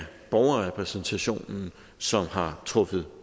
borgerrepræsentationen som har truffet